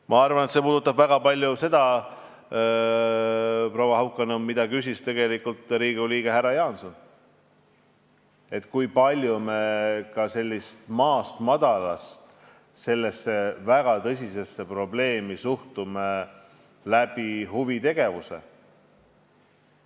Ma arvan, et see puudutab väga palju ka seda, proua Haukanõmm, mida küsis Riigikogu liige härra Jaanson: kui palju maast madalast selle väga tõsise probleemiga tegeletakse huvitegevuse abil.